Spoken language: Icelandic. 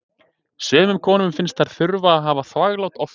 sumum konum finnst þær þurfa að hafa þvaglát oftar